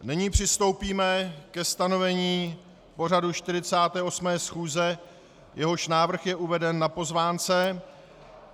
Nyní přistoupíme ke stanovení pořadu 48. schůze, jehož návrh je uveden na pozvánce.